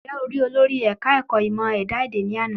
Ǹjẹ́ o rí olórí ẹ̀ka ẹ̀kọ́ ìmọ ẹ̀dá èdè ni àná?